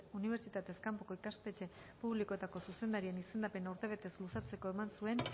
unibertsitatez kanpoko ikastetxe publikoetako zuzendarien izendapena urtebetez luzatzeko eman zuen